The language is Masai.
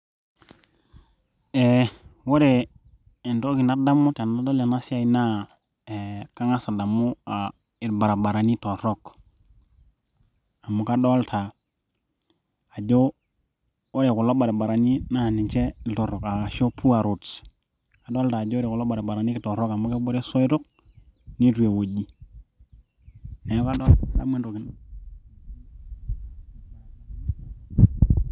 eh, ore entoki nadamu tenadol enasiai naa kang'as adamu uh, irbaribarani torrok amu kadolta ajo ore kulo baribarani naa ninche iltorrok ashu poor roads adolta ajo ore kulo baribarani kitorrok amu kebore isoitok nitu ewoji neeku kadamu entoki.